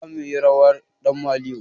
Zamuyi rawar ɗan maliyo